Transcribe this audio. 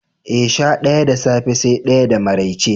Eh, sha ɗaya da safe sai ɗaya da maraice.